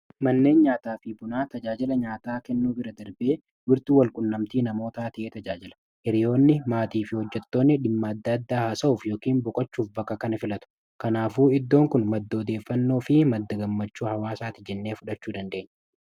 Manneen nyaataa fi bunaa tajaajila nyaataa kennuu bira darbanii, bakka walqunnamtii hawaasummaa namootaati. Hiriironni, maatii fi hojjettoonni dhimmoota adda addaa irratti mari’achuuf yookiin bohaaruuf bakka kana filatu. Kanaafuu, iddoon kun madda odeeffannoo fi madda gammachuu hawaasaa ti jennee fudhachuu ni dandeenya.